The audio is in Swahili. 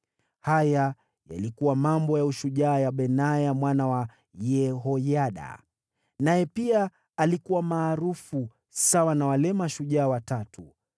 Haya yalikuwa mambo ya ushujaa ya Benaya mwana wa Yehoyada; naye pia alikuwa maarufu kama wale mashujaa watatu.